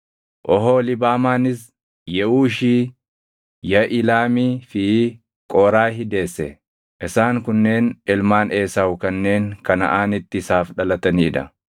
Oholiibaamaanis Yeʼuushi, Yaʼilaamii fi Qooraahi deesse. Isaan kunneen ilmaan Esaawu kanneen Kanaʼaanitti isaaf dhalatanii dha.